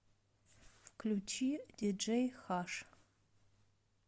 включи диджей хаш